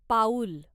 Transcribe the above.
पाऊल